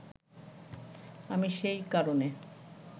আমি সেই কারণে